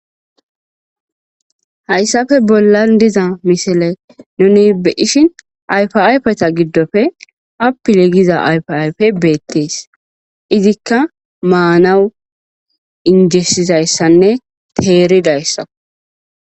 hayssafe bollan diza misile nunibeishin ayfayfeta giddofe apile giza ayfiayfe beettees izikka maanawu injessizayssanne teeridayssa